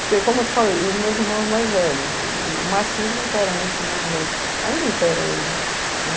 Porque, como eu te falei, os meus irmãos mais velhos, o machismo impera muito no Nordeste, ainda impera hoje.